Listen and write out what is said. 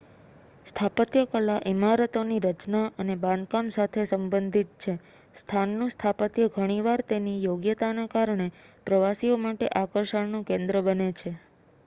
સ્થાપત્યકલા ઇમારતોની રચના અને બાંધકામ સાથે સંબંધિત છે સ્થાનનું સ્થાપત્ય ઘણીવાર તેની યોગ્યતાને કારણે પ્રવાસીઓ માટે આકર્ષણનું કેન્દ્ર બને છે